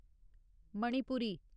Manipuri